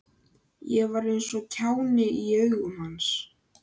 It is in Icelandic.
Ég var eins og kjáni í augum hans.